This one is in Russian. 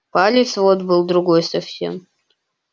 палец вот был другой совсем